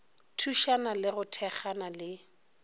thušana le go thekgana le